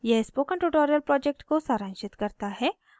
यह spoken tutorial project को सारांशित करता है